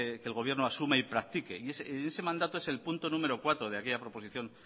que el gobierno asuma y practique y ese mandato es el punto número cuatro de aquella proposición